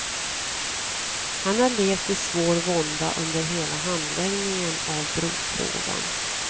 Han har levt i svår vånda under hela handläggningen av brofrågan.